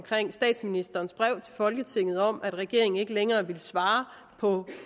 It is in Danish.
statsministerens brev til folketinget om at regeringen ikke længere ville svare på